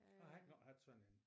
Jeg har engang haft sådan en